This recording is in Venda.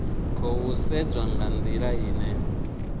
khou sedzwa nga ndila ine